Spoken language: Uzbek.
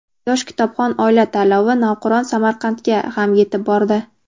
"Yosh kitobxon oila" tanlovi navqiron Samarqandga ham yetib bordi!.